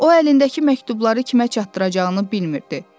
O əlindəki məktubları kimə çatdıracağını bilmirdi.